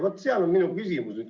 Vaat sealt tuleb ka mu küsimus.